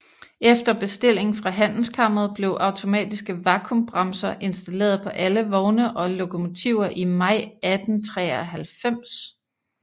Efter bestilling fra Handelskammeret blev automatiske vakuumbremser installeret på alle vogne og lokomotiver i maj 1893